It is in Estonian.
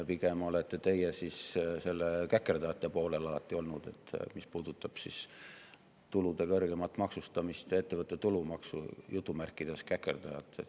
Pigem olete teie alati seal käkerdajate poolel olnud, mis puudutab tulude kõrgemat maksustamist ja ettevõtte tulumaksu "käkerdajat".